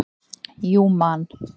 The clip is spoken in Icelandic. Jú Man.